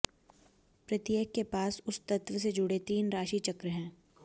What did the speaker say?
प्रत्येक के पास उस तत्व से जुड़े तीन राशि चक्र हैं